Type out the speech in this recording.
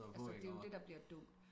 Altså det jo det der bliver dumt